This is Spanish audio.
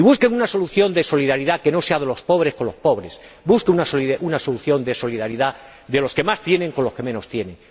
Y busquen una solución de solidaridad que no sea de los pobres con los pobres, busquen una solución de solidaridad de los que más tienen con los que menos tienen.